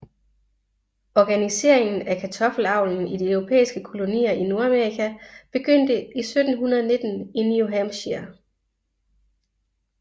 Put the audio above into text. Organiseringen af kartoffelavlen i de europæiske kolonier i Nordamerika begyndte i 1719 i New Hampshire